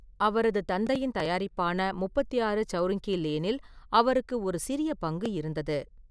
அவரது தந்தையின் தயாரிப்பான 36 சௌரிங்கி லேனில் அவருக்கு ஒரு சிறிய பங்கு இருந்தது.